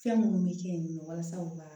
Fɛn minnu bɛ kɛ yen nɔ walasa u ka